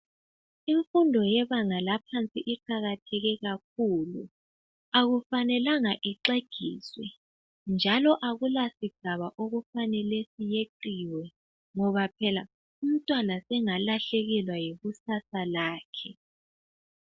Imfundo yebanga laphansi iqakatheke kakhulu akufanelanga ixegiswe njalo akula sigaba okufanele seqiwe ngoba pheka umntwana sengalahlekelwa yikusasa lakhe.